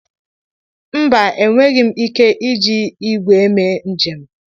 Mba, enweghị m ike iji igweeme njem.